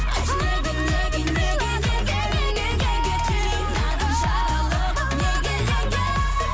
айтшы неге неге неге неге неге неге қинадың жаралы қып неге неге